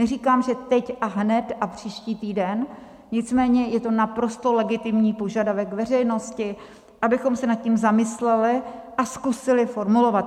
Neříkám, že teď a hned a příští týden, nicméně je to naprosto legitimní požadavek veřejnosti, abychom se nad tím zamysleli a zkusili formulovat...